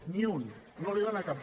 ni un no n’hi dóna cap